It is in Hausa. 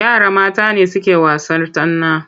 Yara mata ne suke wasan'yar tsana.